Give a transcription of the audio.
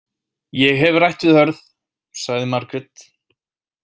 Ég hef rætt við Hörð, sagði Margrét.